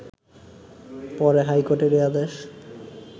পরে হাইকোটের এ আদেশ